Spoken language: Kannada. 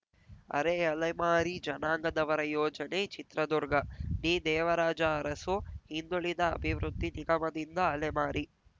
ಅರೆಅಲೆಮಾರಿ ಜನಾಂಗದವರ ಯೋಜನೆ ಚಿತ್ರದುರ್ಗ ಡಿದೇವರಾಜ ಅರಸು ಹಿಂದುಳಿದ ಅಭಿವೃದ್ಧಿ ನಿಗಮದಿಂದ ಅಲೆಮಾರಿ